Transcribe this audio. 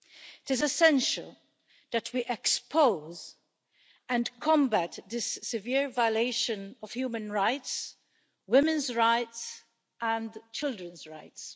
It is essential that we expose and combat this severe violation of human rights, women's rights and children's rights.